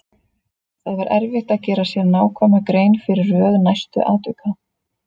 Það var erfitt að gera sér nákvæma grein fyrir röð næstu atvika.